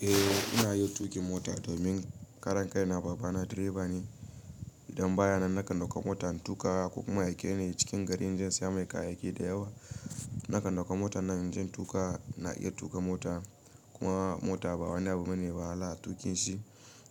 Eh ina yin tuƙin mota domin karan kai na baba na direba ne. Idan baya nan nakan dauka mota in tuƙa ko kuma ya aike ni cikin gari inje in siya mai kayayyaki da yawa. Nakan dauka mota na inje in tuƙa, na iya tuƙa mota, kuma mota ba wani abu bane wahala a tuƙin shi.